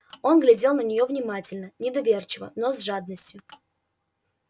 он глядел на нее внимательно недоверчиво но с жадностью